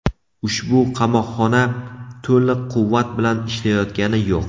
Ushbu qamoqxona to‘liq quvvat bilan ishlayotgani yo‘q.